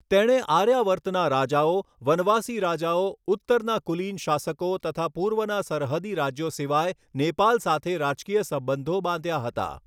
તેણે આર્યાવર્તના રાજાઓ વનવાસી રાજાઓ ઉત્તરના કુલીન શાસકો તથા પૂર્વના સરહદી રાજ્યો સિવાય નેપાલ સાથે રાજકીય સંબંધો બાંધ્યા હતા.